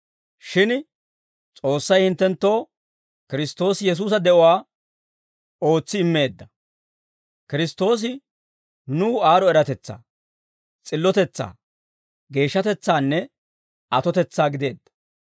Shin S'oossay hinttenttoo Kiristtoosi Yesuusa de'uwaa ootsi immeedda. Kiristtoosi nuw aad'd'o eratetsaa, s'illotetsaa, geeshshatetsaanne atotetsaa gideedda.